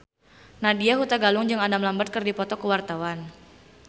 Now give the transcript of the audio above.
Nadya Hutagalung jeung Adam Lambert keur dipoto ku wartawan